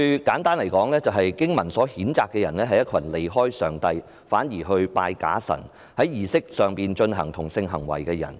簡單來說，經文譴責的人，是一群離開上帝反而敬拜假神，並在儀式中進行同性性行為的人。